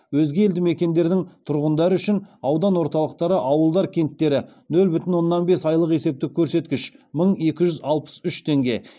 өзге елді мекендердің тұрғындары үшін нөл бүтін оннан бес айлық есептік көрсеткіш